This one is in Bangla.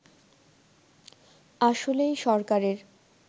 আসলেই সরকারের